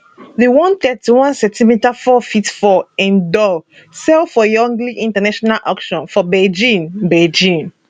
di 131cm 4ft 4in doll sell for yongle international auction for beijing beijing